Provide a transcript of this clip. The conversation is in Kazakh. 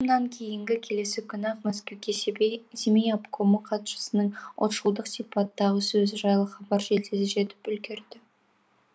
кейінгі келесі күні ақ мәскеуге семей обкомы хатшысының ұлтшылдық сипаттағы сөзі жайлы хабар жедел жетіп үлгереді